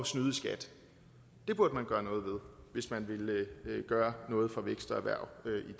snyde i skat det burde man gøre noget ved hvis man ville gøre noget for vækst og erhverv